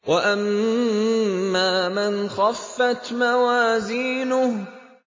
وَأَمَّا مَنْ خَفَّتْ مَوَازِينُهُ